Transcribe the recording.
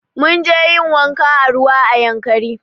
Munje yin wanka a ruwa a yankari